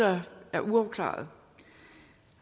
er uafklarede